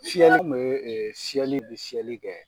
Fiyɛli tun bɛ e fiyɛli bɛ fiyɛli kɛ